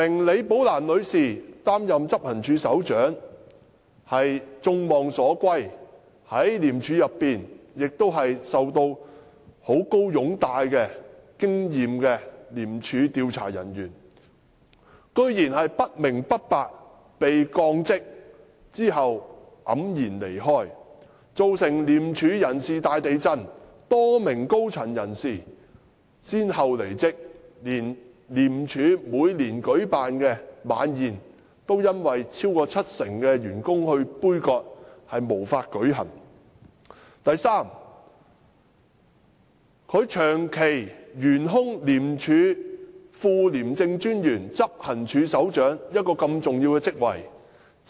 李女士功勳卓著，是一位在廉署內極受擁戴而富有經驗的廉署調查人員，由她出任執行處首長實是眾望所歸，但她竟不明不白地被降職，最終黯然離開，造成廉署大地震，多名高層人士相繼離職，就連廉署的周年晚宴也因此遭超過七成的員工杯葛，結果無法舉行；第三，白韞六竟容許廉署副廉政專員/執行處首長這個重要職位長期懸空。